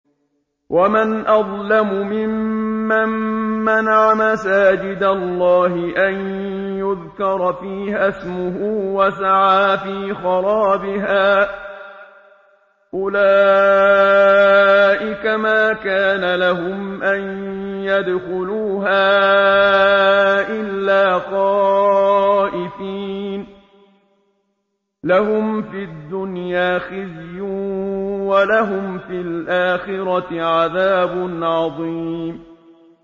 وَمَنْ أَظْلَمُ مِمَّن مَّنَعَ مَسَاجِدَ اللَّهِ أَن يُذْكَرَ فِيهَا اسْمُهُ وَسَعَىٰ فِي خَرَابِهَا ۚ أُولَٰئِكَ مَا كَانَ لَهُمْ أَن يَدْخُلُوهَا إِلَّا خَائِفِينَ ۚ لَهُمْ فِي الدُّنْيَا خِزْيٌ وَلَهُمْ فِي الْآخِرَةِ عَذَابٌ عَظِيمٌ